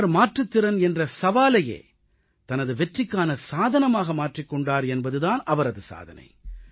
அவர் மாற்றுத்திறன் என்ற சவாலையே தனது வெற்றிக்கான சாதனமாக மாற்றிக் கொண்டார் என்பது தான் அவரது சாதனை